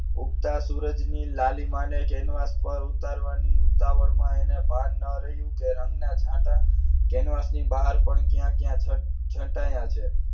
ઉગતા સૂરજની લાલીમા અને કેનવાસ પર ઉતારવાની ઉતાવળમાં એને ભાન ન રહ્યું કે રંગ ના છટાં કેનવાસ ની બહાર પણ ક્યાં ક્યાં છટા આયા છે